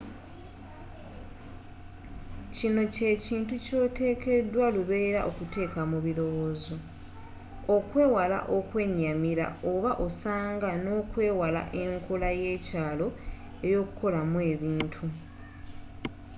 kino kyekintu kyotekedwa lubeerera okuteeka mu birowoozo okwewala okwenyamira oba osanga nokwewala enkola yekyalo eyokukolamu ebintu